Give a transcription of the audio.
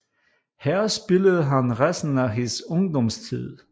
Her spillede han resten af sin ungdomstid